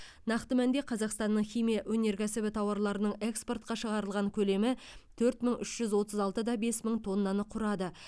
нақты мәнде қазақстанның химия өнеркәсібі тауарларының экспортқа шығарылған көлемі төрт мың үш жүз отыз алты да бес мың тоннаны құрады